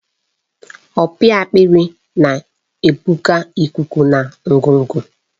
Opi akpịrị na-ebuga ikuku na ngụgụ.